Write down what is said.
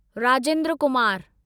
Rajendra Kumar